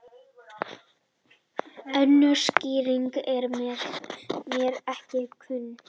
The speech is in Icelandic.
Önnur skýring er mér ekki kunn.